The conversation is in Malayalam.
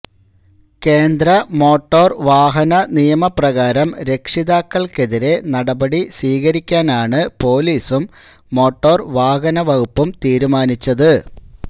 കേന്ദ്ര മോട്ടോർ വാഹന നിയമ പ്രകാരം രക്ഷിതാക്കൾക്കെതിരെ നടപടി സ്വീകരിക്കാനാണ് പോലീസും മോട്ടോർ വാഹന വകുപ്പും തീരുമാനിച്ചത്